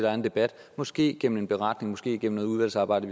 er en debat måske gennem en beretning måske gennem noget udvalgsarbejde